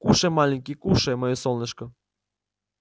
кушай маленький кушай моё солнышко